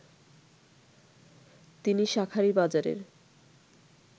তিনি শাঁখারীবাজারের